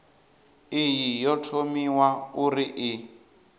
iyi yo thomiwa uri i